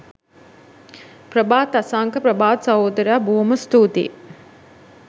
ප්‍රභාත් අසංක ප්‍රභාත් සහෝදරයා බොහොම ස්තුතියි